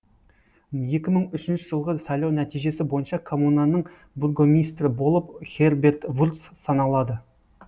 екі мың үшінші жылғы сайлау нәтижесі бойынша коммунаның бургомистрі болып херберт вурц саналады